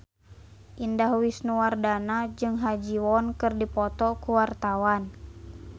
Indah Wisnuwardana jeung Ha Ji Won keur dipoto ku wartawan